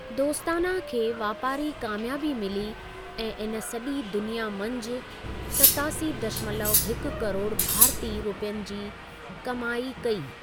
दोस्ताना खे वापारी कामियाबी मिली ऐं इन सॼी दुनिया मंझि सतासी दशमलव हिकु करोड़ भारती रुपयनि जी कमाई कई।